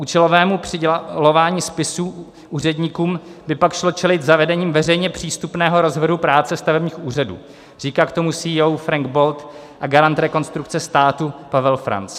Účelovému přidělování spisů úředníkům by pak šlo čelit zavedením veřejně přístupného rozvrhu práce stavebních úřadů, říká k tomu CEO Frank Bold a garant Rekonstrukce státu Pavel Franc.